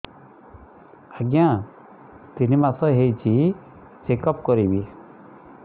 ଆଜ୍ଞା ତିନି ମାସ ହେଇଛି ଚେକ ଅପ କରିବି